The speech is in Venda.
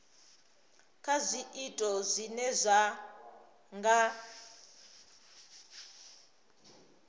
kha zwiito zwine zwa nga